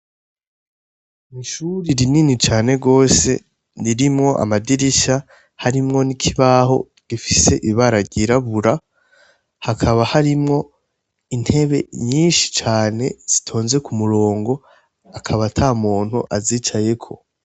Ishure rinini cane gose ririmwo amadirisha, harimwo n'ikibaho gifise ibara ryirabura hakaba harimwo intebe nyinshi zitonze kumurongo, akaba atamuntu azicayeko.